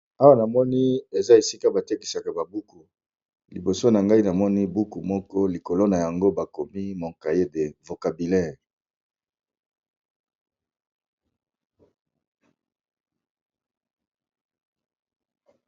Awa namoni eza esika batekisaka babuku liboso nangai namoni buku moko likolo nayango Mon cahier de vocabulaire